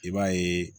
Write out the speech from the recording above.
I b'a ye